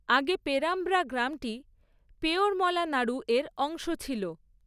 আগে পেরাম্ব্রা গ্রামটি 'পেয়োরমলা নাড়ু'র অংশ ছিল।